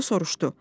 O soruşdu: